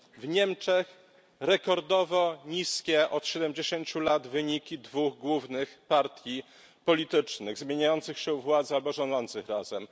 W Niemczech rekordowo niskie od 70 lat wyniki dwóch głównych partii politycznych zmieniających się u władzy albo rządzących razem.